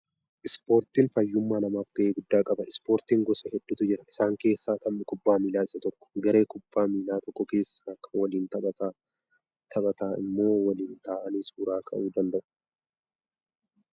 Ispooriin fayyummaa namaaf ga'ee guddaa qaba. Ispoortiin gosa hedduutu jira. Isaan keessaa taphni kubbaa miilaa isa tokko. Garee kubbaa miillaa tokko keessa kan waliin taphataa immoo waliin ta'anii Suuraa ka'uu danda'u.